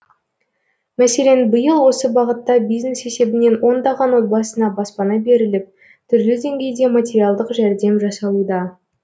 мәселен биыл осы бағытта бизнес есебінен ондаған отбасына баспана беріліп түрлі деңгейде материалдық жәрдем жасалуда